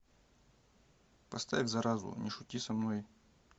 поставь заразу не шути со мной